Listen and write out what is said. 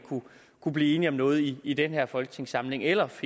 kunne blive enige om noget i i den her folketingssamling eller at